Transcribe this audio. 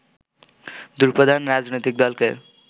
দুই প্রধান রাজনৈতিক দলকে